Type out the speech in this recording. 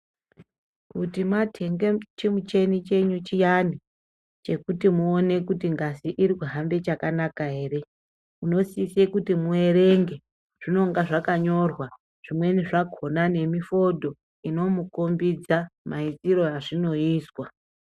Kuti matenda chimuchenyu chenyu chiyani chekuti muine kuti ngazi kuhambe chakanaka ere munosisa kuti muerenge zvinenge zvakanyorwa zvimweni zvakona nemifodho imomukombidza maitirwo azvinoita.